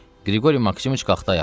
Qriqori Maksimoviç qalxdı ayağa.